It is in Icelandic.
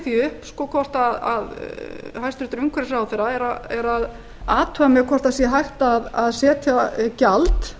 því upp hvort hæstvirtur umhverfisráðherra er að athuga með hvort hægt sé að setja gjald